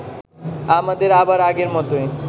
আমাদের আবার আগের মতোই